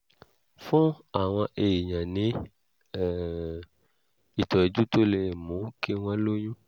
fún àwọn èèyàn ní um ìtọ́jú tó lè mú kí wọ́n lóyún